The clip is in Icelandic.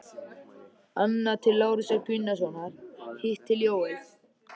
Annað til Lárusar Gunnarssonar, hitt til Jóels.